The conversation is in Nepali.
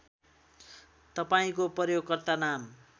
तपाईँको प्रयोगकर्ता नाम